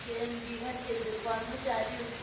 B~ বিভাগের কর্মচারী